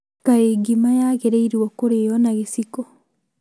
Kaĩ ngima yagĩrĩrwo kũrĩo na gĩciko?